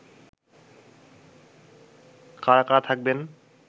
কারা কারা থাকবেন